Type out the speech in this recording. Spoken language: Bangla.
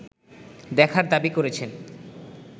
দেখার দাবি করেছেন